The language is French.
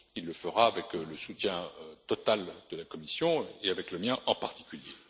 Il le fera avec le soutien total de la Commission et avec le mien en particulier.